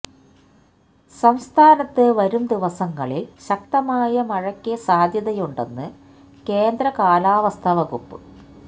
സംസ്ഥാനത്ത് വരും ദിവസങ്ങളില് ശക്തമായ മഴയ്ക്ക് സാധ്യതയുണ്ടെന്ന് കേന്ദ്ര കാലാവസ്ഥ വകുപ്പ്